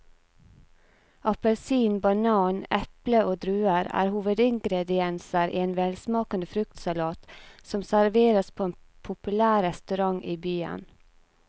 Appelsin, banan, eple og druer er hovedingredienser i en velsmakende fruktsalat som serveres på en populær restaurant i byen.